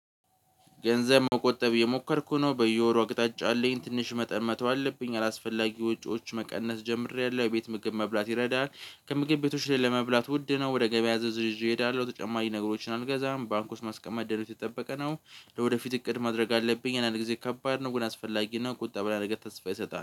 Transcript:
ገንዘብ መቆጠብ የሞከርኩ ነው በየወሩ አቅጣጫ አለኝ ትንሽ መጠን መተው አለብኝ አላስፈላጊ ውጪዎች መቀነስ ጀምሬያለሁ የቤት ምግብ መብላት ይረዳል። ከምግብ ቤቶች ላይ ለመብላት ውድ ነው። ወደ ገበያ ይዤ እሄዳለሁ ተጨማሪ ነገሮችን አንገዛም። ባንክውስጥ ማስቀመጥ ደህንነቱ የተጠበቀ ነው። ወደፊት እቅድ ማድረግ አለብኝ ያንን ጊዜ ከባድ ነው ግን አስፈላጊ ነው። ቁጣባ ለነገ ተስፋ ይሰጣል